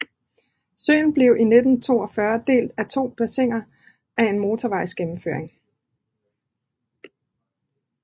Søen blev i 1942 delt i to bassiner af en motorvejsgennemføring